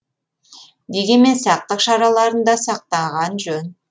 дегенмен сақтық шараларын да сақтаған жөн